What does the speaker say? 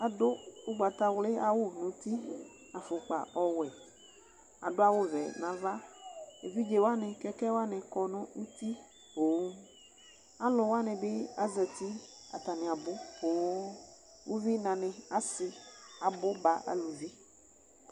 Adʋ ʋgbatawlɩ awʋ nuti, afʋkpa ɔwɛ, adʋ awʋvɛ navaEvidze wanɩ ,kɛkɛ wanɩ kɔ nʋ uti poooAlʋ wanɩ bɩ azati atanɩ abʋ pooo, uvinanɩ asɩ abʋ ba aluvi